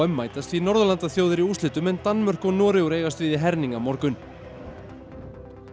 mætast því Norðurlandaþjóðir í úrslitum en Damörk og Noregur eigast við í herning á morgun og